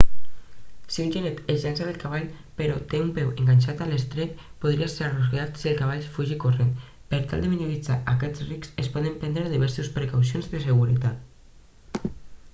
si un genet es llança del cavall però té un peu enganxat a l'estrep podria ser arrossegat si el cavall fuig corrent per tal de minimitzar aquest risc es poden prendre diverses precaucions de seguretat